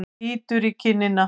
Bítur í kinnina.